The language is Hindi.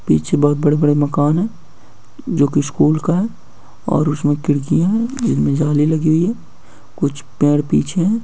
पिछे बहुत बड़े बड़े मकान है जो की स्कुल का है और उसमें खिड़कियाँ हैं उसमें जाली लगी है कुछ पेड़ पीछे है।